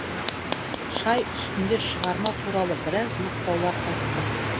шай үстінде шығарма туралы біраз мақтаулар айттым